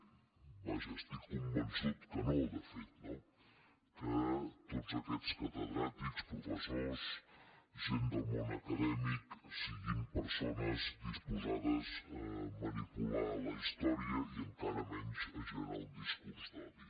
vaja estic convençut que no de fet no que tots aquests catedràtics professors gent del món acadèmic siguin persones disposades a manipular la història i encara menys a generar un discurs d’odi